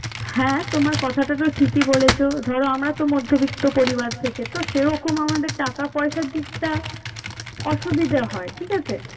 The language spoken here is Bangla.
হ্যাঁ তোমার কথাটা তো ঠিকই বলেছো ধরো আমরা তো মধ্যবিত্ত পরিবার থেকে তো সেরকম আমাদের টাকা পয়সার দিকটা অসুবিধা হয়। ঠিক আছে?